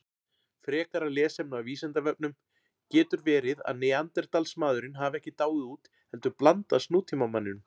Frekara lesefni á Vísindavefnum: Getur verið að Neanderdalsmaðurinn hafi ekki dáið út heldur blandast nútímamanninum?